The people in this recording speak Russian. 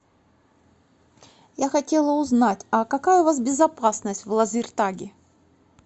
я хотела узнать а какая у вас безопасность в лазертаге